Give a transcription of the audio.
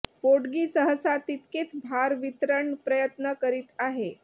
पोटगी सहसा तितकेच भार वितरण प्रयत्न करीत आहे